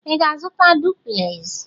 Ị ga-azụta duplez?